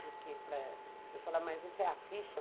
Porque ele fala, mas isso é a ficha?